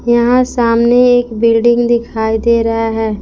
यहां सामने एक बिल्डिंग दिखाई दे रहा है।